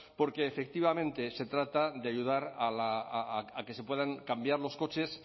porque efectivamente se trata de ayudar a que se puedan cambiar los coches